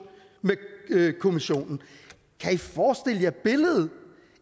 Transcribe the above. med kommissionen kan i forestille jer billedet